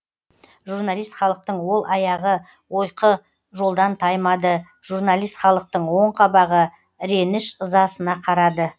жұрналист халықтың ол аяғы ойқы жолдан таймады жұрналист халықтың ол қабағы іреніш ызасына қарады